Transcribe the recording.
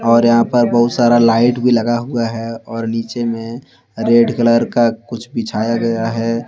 और यहां पर बहुत सारा लाइट भी लगा हुआ है और नीचे में रेड कलर का कुछ बिछाया गया है।